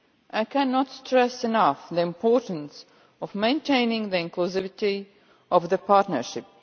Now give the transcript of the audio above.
I cannot stress enough the importance of maintaining the inclusivity of the partnership.